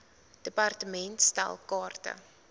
department stel kaarte